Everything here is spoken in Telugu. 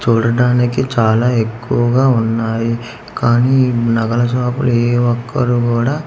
చూడడానికి చాలా ఎక్కువగా ఉన్నాయి కానీ ఈ నగల షాపు లో ఏ ఒక్కరు గూడా--